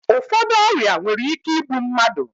Ụfọdụ ọrịa nwere ike igbu mmadụ